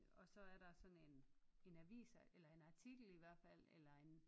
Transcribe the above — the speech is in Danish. Og så er der sådan en en avis eller en artikel i hvert fald eller en